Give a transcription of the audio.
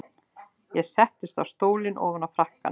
Ég settist í stólinn ofan á frakkann.